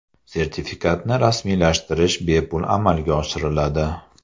Sertifikatni rasmiylashtirish bepul amalga oshiriladi.